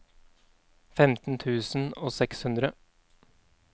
femten tusen og seks hundre